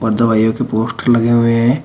दवाइयों के पोस्टर लगे हुए हैं।